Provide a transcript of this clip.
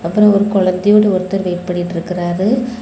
அப்ரோ ஒரு குழந்தை ஓட ஒருத்தர் வெயிட் பண்ணிட்டு இருக்குறாரு.